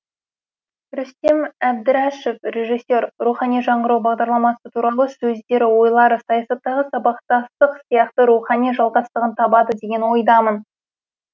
рүстем әбдірашев режиссер рухани жаңғыру бағдарламасы туралы сөздері ойлары саясаттағы сабақтастық сияқты рухани жалғастығын табады деген ойдамын